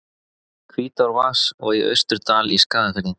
Hvítárvatns og í Austurdal í Skagafirði.